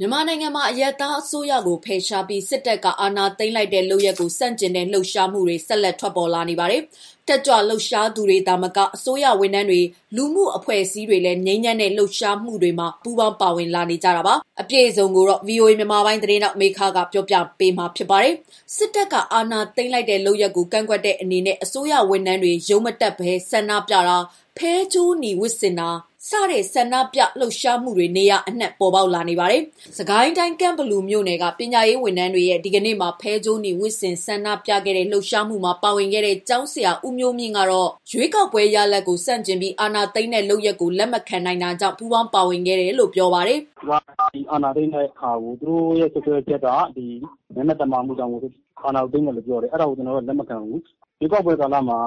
မြန်မာနိုင်ငံမှာ အရပ်သားအစိုးရကို ဖယ်ရှားပြီး စစ်တပ်က အာဏာသိမ်းလိုက်တဲ့ လုပ်ရပ်ကို ဆန့်ကျင်တဲ့ လှုပ်ရှားမှုတွေ ဆက်လက် ထွက်ပေါ်လာနေပါတယ်။ တက်ကြွလှုပ်ရှားသူတွေသာမက အစိုးရဝန်ထမ်းတွေ၊ လူမှုအဖွဲ့အစည်းတွေလည်း ငြိမ်းချမ်းတဲ့ လှုပ်ရှားမှုတွေမှာ ပူးပေါင်းပါဝင်လာနေကြတာပါ။ အပြည့်အစုံကိုတော့ ဗွီအိုအေ မြန်မာပိုင်းသတင်းထောက် မမေခက ပြောပြပါမယ်။ စစ်တပ်က အာဏာသိမ်းလိုက်တဲ့ လုပ်ရပ်ကို ကန့်ကွက်တဲ့အနေနဲ့ အစိုးရဝန်ထမ်းတွေ ရုံးမတက်ဘဲ ဆန္ဒပြတာ၊ ဖဲကြိုးနီဝတ်ဆင်တာစတဲ့ ဆန္ဒပြ လှုပ်ရှားမှုတွေ နေရာအနှံ့ ပေါ်ပေါက်လာနေပါတယ်။ စစ်ကိုင်းတိုင်း ကန့်ဘလူမြို့နယ်က ပညာရေးဝန်ထမ်းတွေရဲ့ ဒီကနေ့မှာ ဖဲကြိုးနီဝတ်ဆင် ဆန္ဒပြခဲ့ကြတဲ့ လှုပ်ရှားမှုမှာ ပါဝင်ခဲ့တဲ့ ကျောင်းဆရာ ဦးမျိုးမြင့်ကတော့ ရွေးကောက်ပွဲ ရလဒ်ကို ဆန့်ကျင်ပြီး အာဏာသိမ်းတဲ့ လုပ်ရပ်ကို လက်မခံနိုင်တာကြောင့် ပူးပေါင်းပါဝင်ခဲ့တာလို့ ပြောပါတယ်။ “ဒီအာဏာသိမ်းတာကို သူတို့ရဲ့ စွပ်စွဲချက်က မဲမသမာမှုကြောင့် အာဏာသိမ်းတယ်လို့ ပြောတယ်။ ဒါကို ကျနော်တို့က လက်မခံဘူး။ ရွေးကောက်ပွဲကာလမှာ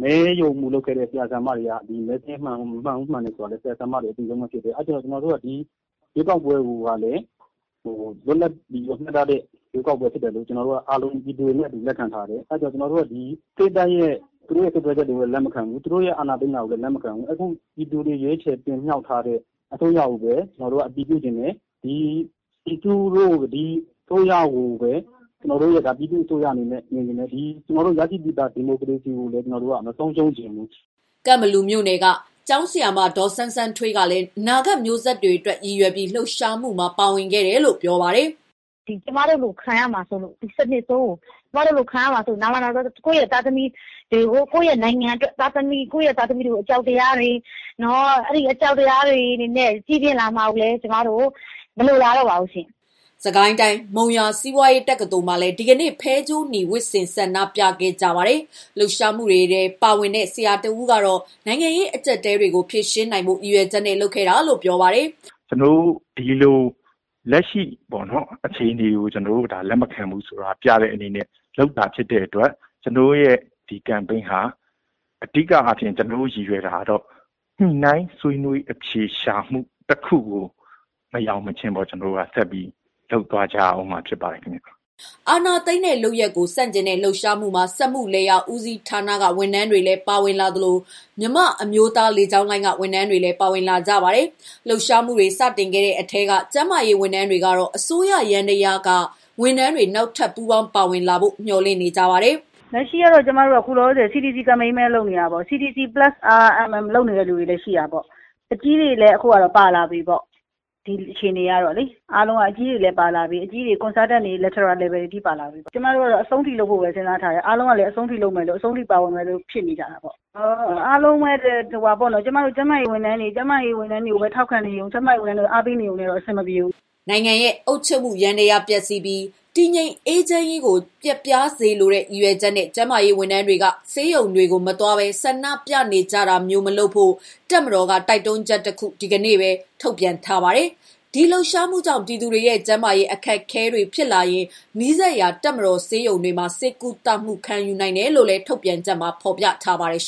မဲရုံမှူး လုပ်ခဲ့တဲ့ ဆရာ၊ ဆရာမတွေက မဲစာရင်းမှန်တယ်၊ မမှန်ဘူးဆိုတာကို ဆရာ ဆရာမတွေ အသိဆုံးပဲဖြစ်တယ်။ အဲ့ဒါကြောင့် ကျနော်တို့က ဒီရွေးကောက်ပွဲကိုက လွတ်လပ်ပြီး တရားမျှတတဲ့ ရွေးကောက်ပွဲဖြစ်တယ်လို့ ပြည်သူတွေနဲ့ အတူလက်ခံထားတယ်။ အဲ့ဒီတော့ ကျနော်တို့ စစ်တပ်ရဲ့ စွပ်စွဲချက်တွေကို လက်မခံဘူး။ စစ်တပ်က အာဏာသိမ်းတာကိုလည်း လက်မခံဘူး။ ပြည်သူတွေက ရွေးချယ်တင်မြှောက်ထားတဲ့ အစိုးရကိုပဲ ကျနော်တို့က အတည်ပြုတယ်။ ကျနော်တို့ အစိုးရကိုပဲ ပြည်သူ့အစိုးရအနေနဲ့ မြင်ချင်တယ်။ ကျနော်တို့ ရရှိပြီးသား ဒီမိုကရေစီကိုလည်း ကျနော်တို့ မဆုံးရှုံးချင်ဘူး။” ကန့်ဘလူမြို့နယ်က ကျောင်းဆရာမ ဒေါ်စန်းစန်းထွေးကလည်း အနာဂတ်မျိုးဆက်တွေအတွက် ရည်ရွယ်ပြီး လှုပ်ရှားမှုမှာ ပူးပေါင်းပါဝင်ခဲ့တာလို့ ပြောပါတယ်။ “ကျမတို့လို ခံရမှာစိုးလို့ ဒီစနစ်ဆိုးကို ကျမတို့လို ခံရမှာစိုးလို့ ကိုယ့်ရဲ့သားသမီးတွေ၊ ကိုယ့်ရဲ့ နိုင်ငံအတွက် ကိုယ်ရဲ့သားသမီးတွေကို အကြောက်တရားတွေနဲ့ ကြီးပြင်းလာရမှာကိုလည်း မလိုလားတော့ပါဘူး။” စစ်ကိုင်းတိုင်း မုံရွာစီးပွားရေးတက္ကသိုလ်မှာလည်း ဒီကနေ့ ဖဲကြိုးနီဝတ်ဆင် ဆန္ဒပြခဲ့ကြပါတယ်။ လှုပ်ရှားမှုမှာ ပါဝင်တဲ့ ဆရာတစ်ဦးကတော့ နိုင်ငံရေး အကြပ်အတည်းတွေကို ဖြေရှင်းနိုင်ဖို့ ရည်ရွယ်ချက်နဲ့ လုပ်ခဲ့တာလို့ ပြောပါတယ်။ “ကျနော်တို့ ဒီလို လက်ရှိ အခြေအနေကို လက်မခံဘူးဆိုတာ ပြတဲ့အနေနဲ့ လုပ်တာဖြစ်တဲ့အတွက် ကျနော်တို့ရဲ့ ဒီကမ်ပိန်းဟာ အဓိက ကျနော်တို့ ရည်ရွယ်တာကတော့ ညှိနှိုင်းဆွေးနွေးအဖြေရှာမှု တစ်ခုကို မရောက်မချင်း ကျနော်တို့ လုပ်သွားကြရဦးမှာဖြစ်ပါတယ်ခင်ဗျာ။” အာဏာသိမ်းတဲ့ လုပ်ရပ်ကို ဆန့်ကျင်တဲ့ လှုပ်ရှားမှုမှာ စက်မှုလယ်ယာဦးစီးဌာနက ဝန်ထမ်းတွေလည်းပါဝင်လာသလို၊ မြန်မာအမျိုးသား လေကြောင်းလိုင်းက ဝန်ထမ်းတွေလည်း ပါဝင်လာကြပါတယ်။ လှုပ်ရှားမှုတွေ စတင်ခဲ့တဲ့ အထဲက ကျန်းမာရေးဝန်ထမ်းတွေကတော့ အစိုးရယန္တရားက ဝန်ထမ်းတွေ နောက်ထပ် ပူးပေါင်းပါဝင်လာဖို့ မျှော်လင့်နေကြပါတယ်။ “လက်ရှိ ကျမတို့က ခု CDC ကမ်ပိန်းပဲလုပ်နေတာပေါ့။ CDC+RMM လုပ်နေတဲ့သူတွေလည်းရှိတာပေါ့။ အကြီးတွေလည်း ခုပါလာပြီပေါ့။ ဒီအခြေအနေကတော့လေ၊ အကြီးတွေလည်း တော်တော် Level တွေအထိ ပါလာပြီ။ ကျမတို့ကတော့ အဆုံးထိလုပ်ဖို့ စဉ်းစားထားတယ်။ အားလုံးကလည်း အဆုံးထိ ပါဝင်ဖို့ ဆန္ဒရှိကြတယ်။ အားလုံးပဲ ကျမတို့ ကျန်းမာရေးဝန်ထမ်းတွေကို ထောက်ခံနေရုံနဲ့တော့ အားပေးနေရုံနဲ့တော့ အဆင်မပြေဘူးပေါ့။ အားလုံးပါဝင်ကြမှ အဆင်ပြေမှာပါ။” နိုင်ငံတော်ရဲ့ အုပ်ချုပ်မှု ယန္တရားပျက်စီးပြီး တည်ငြိမ်အေးချမ်းရေးကို ပျက်ပြားစေလိုတဲ့ ရည်ရွယ်ချက်နဲ့ ကျန်းမာရေးဝန်ထမ်းတွေက ဆေးရုံတွေကို မသွားဘဲ ဆန္ဒပြနေကြတာမျိုးမလုပ်ဖို့ တပ်မတော်က တိုက်တွန်းချက်တစ်ခု ဒီကနေ့ပဲ ထုတ်ပြန်ထားပါတယ်။ ဒီလှုပ်ရှားမှုကြောင့် ပြည်သူတွေရဲ့ ကျန်းမာရေးအခက်အခဲတွေ ဖြစ်လာရင် နီးစပ်ရာ တပ်မတော်ဆေးရုံတွေမှာ ဆေးကုသမှု ခံယူနိုင်တယ်လို့လည်း ထုတ်ပြန်ချက်မှာ ရေးသားထားပါတယ်။